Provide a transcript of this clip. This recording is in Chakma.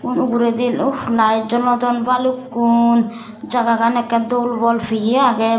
uguredi uff layet jolodon balukkun jagagan ekkey dol bolpeye agey.